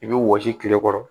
I bɛ wɔsi kile kɔrɔ